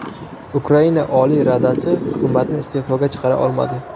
Ukraina Oliy Radasi hukumatni iste’foga chiqara olmadi .